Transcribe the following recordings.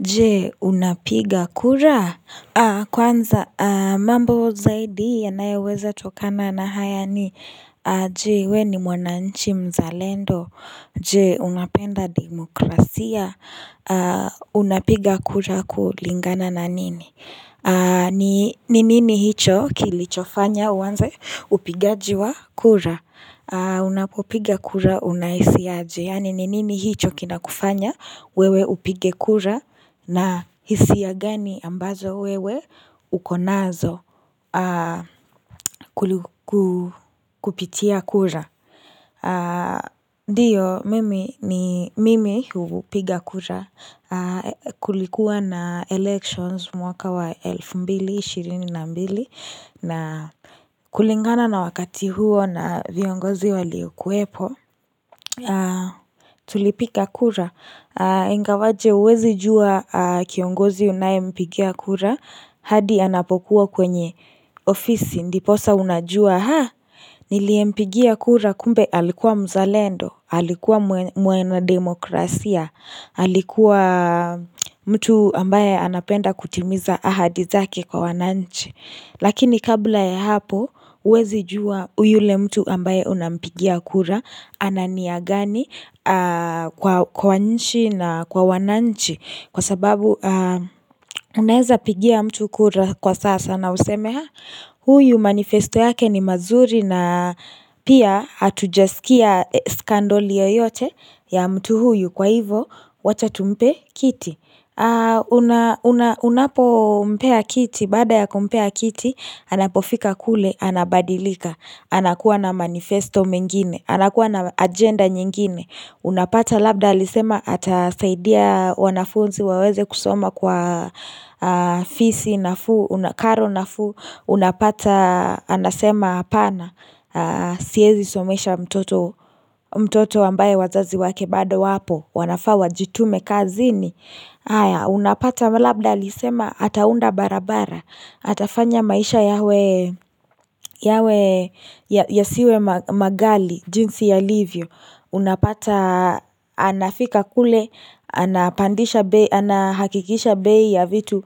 Je, unapiga kura? Kwanza, mambo zaidi yanayoweza tokana na haya ni Je, we ni mwananchi mzalendo? Je, unapenda demokrasia? Unapiga kura kulingana na nini? Ni nini hicho kilichofanya uanze upigaji wa kura? Unapopiga kura unahisi aje? Yani, ni nini hicho kinakufanya wewe upige kura? Na hisia gani ambazo wewe uko nazo kupitia kura? Ndiyo mimi ni mimi hupiga kura kulikuwa na elections mwaka wa elfu mbili ishirini na mbili. Na kulingana na wakati huo na viongozi wa lio kuwepo. Kwa tulipiga kura, ingawaje huwezi jua kiongozi unaye mpigia kura, hadi anapokuwa kwenye ofisi, ndiposa unajua ha, nilie mpigia kura kumbe alikuwa mzalendo, alikuwa mwena demokrasia, alikuwa mtu ambaye anapenda kutimiza ahadi zake kwa wananchi. Lakini kabla ya hapo huwezi jua yule mtu ambaye unampigia kura ana nia gani kwa nchi na kwa wananchi Kwa sababu unaeza pigia mtu kura kwa sasa na useme ha! Huyu manifesto yake ni mazuri na pia hatujasikia scandal yoyote ya mtu huyu kwa hivo wacha tumpe kiti Unapo mpea kiti, baada ya kumpea kiti, anapofika kule, anabadilika anakuwa na manifesto mengine, anakuwa na agenda nyingine. Unapata labda alisema atasaidia wanafunzi waweze kusoma kwa fisi nafuu karo nafuu. Unapata, anasema apana, siezi somesha mtoto ambaye wazazi wake bado wapo. Wanafaa wajitume kazini. Haya unapata labda alisema ataunda barabara, atafanya maisha yawe yawe yasiwe maghali jinsi yalivyo Unapata anafika kule, anapandisha bei, Anahakikisha bei ya vitu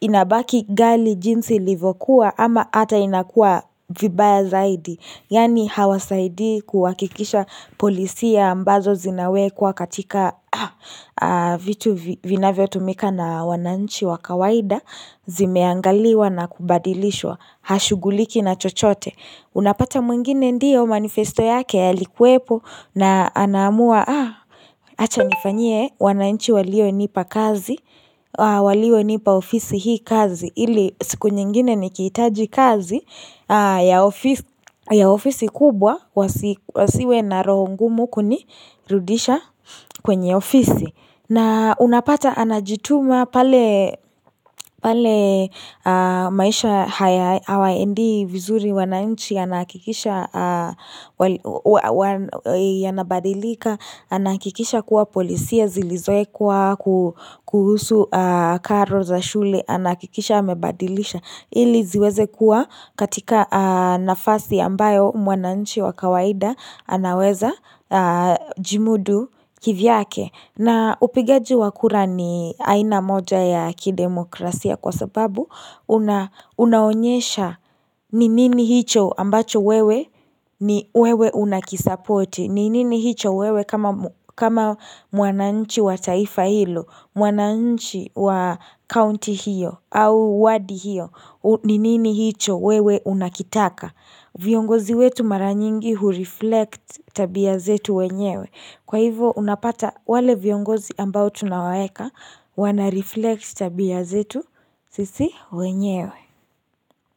inabaki ghali jinsi livokuwa ama hata inakua vibaya zaidi Yani hawasaidi kuhakikisha policia ambazo zinawekwa katika vitu vinavyo tumika na wananchi wa kawaida Zimeangaliwa na kubadilishwa Hashughuliki na chochote Unapata mwingine, ndiyo manifesto yake yalikuwepo na anamua Acha nifanyie wananchi walionipa kazi walio nipa ofisi hii kazi Ili siku nyingine ni kihitaji kazi ya ofisi kubwa Wasiwe na roho ngumu kunirudisha kwenye ofisi. Na unapata anajituma pale pale maisha hayawaendei vizuri wananchi, anahakikisha yanabadilika anahakikisha kuwa polisia zilizowekwa kuhusu karo za shule anahakikisha amebadilisha Ili ziweze kuwa katika nafasi ambayo mwananchi wa kawaida anaweza jimudu kivyake na upigaji wa kura ni aina moja ya kidemokrasia kwa sababu Unaonyesha ni nini hicho ambacho wewe ni wewe unakisapoti. Ni nini hicho wewe kama mwananchi wa taifa hilo. Mwananchi wa county hiyo au wadi hiyo. Ni nini hicho wewe unakitaka viongozi wetu mara nyingi hureflect tabia zetu wenyewe. Kwa hivo unapata wale viongozi ambao tunawaeka wanareflect tabia zetu sisi wenyewe.